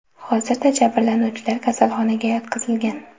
Hozirda jabrlanuvchilar kasalxonaga yotqizilgan.